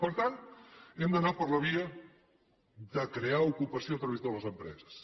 per tant hem d’anar per la via de crear ocupació a través de les empreses